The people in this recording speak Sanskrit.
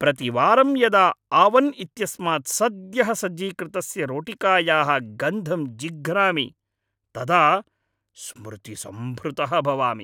प्रतिवारं यदा आवन् इत्यस्मात् सद्यः सज्जीकृतस्य रोटिकायाः गन्धं जिघ्रामि तदा स्मृतिसम्भृतः भवामि।